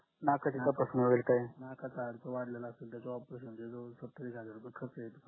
नकाच हाडकं वाढलेलं असाल तर तो operation चे जवळ जवळ सत्तावीस हजार रुपय खर्च येतो